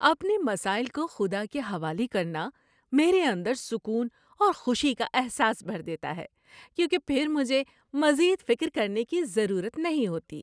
اپنے مسائل کو خدا کے حوالے کرنا میرے اندر سکون اور خوشی کا احساس بھر دیتا ہے کیونکہ پھر مجھے مزید فکر کرنے کی ضرورت نہیں ہوتی ہے۔